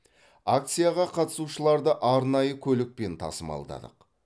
акцияға қатысушыларды арнайы көлікпен тасымалдадық